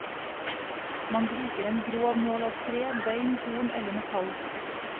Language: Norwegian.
Man bruker en grov nål av tre, bein, horn eller metall.